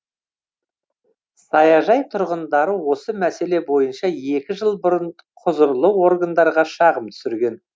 саяжай тұрғындары осы мәселе бойынша екі жыл бұрын құзырлы органдарға шағым түсірген